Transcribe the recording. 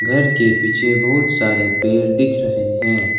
घर के पीछे बहुत सारे पेड़ दिख रहे है।